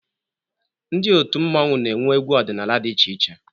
Ndị otu mmọnwụ na-enwe egwu ọdịnala dị iche iche.